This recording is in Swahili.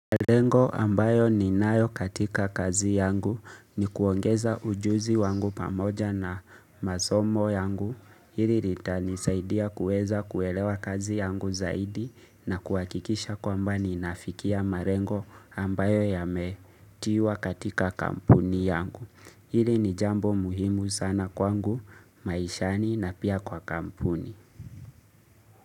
Marengo ambayo ni nayo katika kazi yangu ni kuongeza ujuzi wangu pamoja na masomo yangu hili lita nisaidia kuweza kuelewa kazi yangu zaidi na kuwakikisha kwamba ni nafikia marengo ambayo yametiwa katika kampuni yangu hili ni jambo muhimu sana kwangu maishani na pia kwa kampuni.